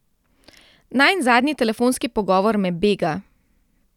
Najin zadnji telefonski pogovor me bega.